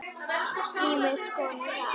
Ýmiss konar haf.